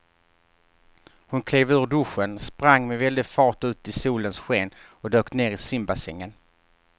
Hon klev ur duschen, sprang med väldig fart ut i solens sken och dök ner i simbassängen.